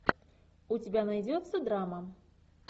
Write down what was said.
у тебя найдется драма